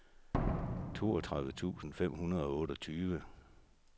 toogtredive tusind fem hundrede og otteogtyve